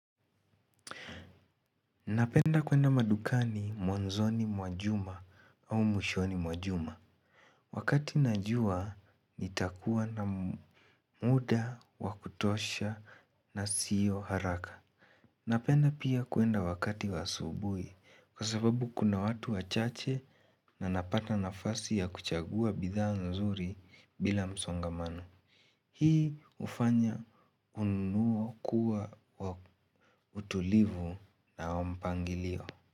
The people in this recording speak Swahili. Napenda kuenda madukani mwanzoni mwa juma au mwishoni mwa juma. Wakati najua nitakuwa na muda, wa kutosha na siyo haraka. Napenda pia kuenda wakati wasm asubuhi kwa sababu kuna watu wachache na napata nafasi ya kuchagua bidhaa nzuri bila msongamano. Hii hufanya ununuo kuwa wa utulivu na wa mpangilio.